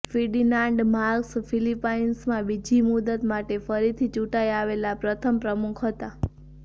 Ferdinand Marcos ફિલિપાઇન્સમાં બીજી મુદત માટે ફરીથી ચૂંટાઈ આવેલા પ્રથમ પ્રમુખ હતા